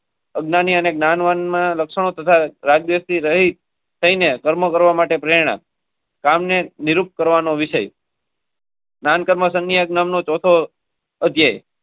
નાનો મહિમા. પગના નિશાન લક્ષણો તથા રાજ્ય સહિત. કામને નિરૂપતી. સંકર મસનીયનો ચોથો.